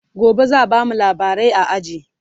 gobe zaa bamu labarai a aji